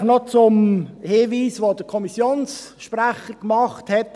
Vielleicht noch zum Hinweis, den der Kommissionssprecher, Hans Kipfer, gemacht hat: